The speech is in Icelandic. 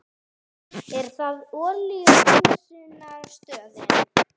Er það olíuhreinsunarstöðin?